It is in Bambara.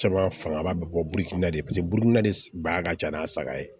Caman fanga ba bɛ bɔ burikun na de paseke burukina de ba ka ca n'a saga ye